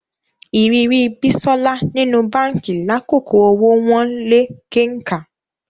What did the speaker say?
Ìrírí Bísọ́lá nínú báǹkì lákòókò owó wọ́n lé kenkà